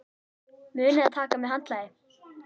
Munið að taka með handklæði!